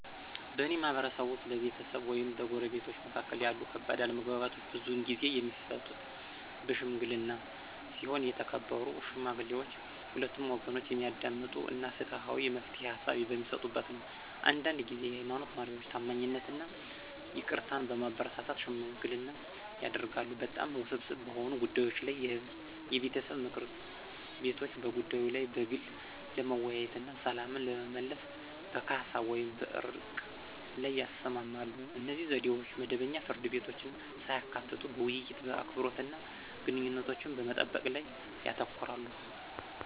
በእኔ ማህበረሰብ ውስጥ፣ በቤተሰብ ወይም በጎረቤቶች መካከል ያሉ ከባድ አለመግባባቶች ብዙውን ጊዜ የሚፈቱት በሺምግሊና ሲሆን የተከበሩ ሽማግሌዎች ሁለቱንም ወገኖች የሚያዳምጡ እና ፍትሃዊ የመፍትሄ ሃሳብ በሚሰጡበት ነው። አንዳንድ ጊዜ የሃይማኖት መሪዎች ታማኝነትን እና ይቅርታን በማበረታታት ሽምግልና ያደርጋሉ። በጣም ውስብስብ በሆኑ ጉዳዮች ላይ የቤተሰብ ምክር ቤቶች በጉዳዩ ላይ በግል ለመወያየት እና ሰላምን ለመመለስ በካሳ ወይም በዕርቅ ላይ ይስማማሉ. እነዚህ ዘዴዎች መደበኛ ፍርድ ቤቶችን ሳያካትቱ በውይይት፣ በአክብሮት እና ግንኙነቶችን በመጠበቅ ላይ ያተኩራሉ።